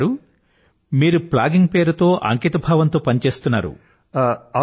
రిపుదమన్ గారూ మీరు ప్లాగింగ్ పేరుతో అంకిత భావంతో పని చేస్తున్నారు